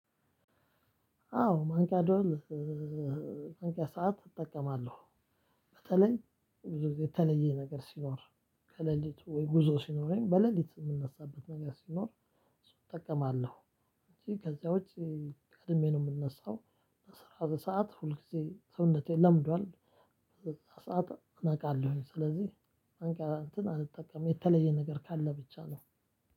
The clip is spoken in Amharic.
አዎ ማንቂያ ማንቂያ ሰዓት እጠቀማለሁ። በተለይ ብዙ ጊዜ የተለየ ነገር ሲኖር ከሌሊቱ ወይ ጉዞ ሲኖረኝ በሌሊት የምንነሳበት ነገር ሲኖር እጠቀማለሁ። ከዚያ ውጪ። ቀድሜ ነው የምንነሳው አስራ ሁለት ሰዓት ሁል ጊዜ ሰውነቴ ለምዷል። ሰዓት እናውቃለሁኝ ስለዚህ ማንቂያ አንተን አልጠቀምም የተለየ ነገር ካለ ብቻ ነው።